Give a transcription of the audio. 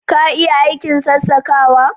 Ka iya aikin sassakawa